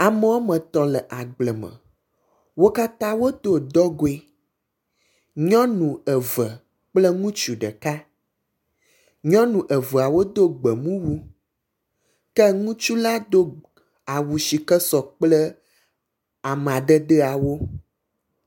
Ame woametɔ̃ le agble me. Wo katã wodo dɔgoe. Nyɔnu eve kple ŋutsu ɖeka. Nyɔnu eveawo do gbemumu ke ŋutsu la do awu si ke sɔ kple amadedewo.